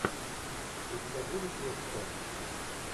у тебя будет лекция